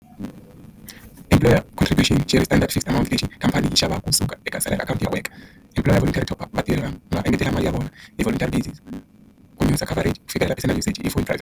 contribution standard fixed akhawunti version khampani yi xavaka kusuka eka akhawunti ya worker employer top vatirhi lama nga engetela mali ya vona ku luza coverage ku fikelela i phone .